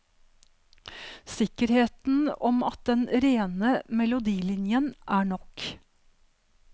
Sikkerheten om at den rene melodilinjen er nok.